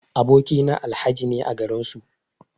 Aboki na Alhaji ne a garin su.